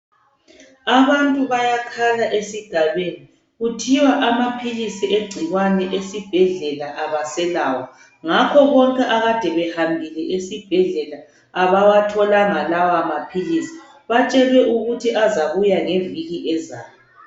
Abantu bayakhala esigabeni kuthiwa amaphilisi egcikwane esibhedlela abaselawo ngakho akade behambile esibhedlela abawatholanga amaphilisi batshelwe ukuthi azabuya ngeviki ezayo.